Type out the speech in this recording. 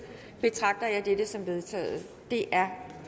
betragter jeg dette som vedtaget det er